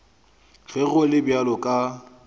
ge go le bjalo ka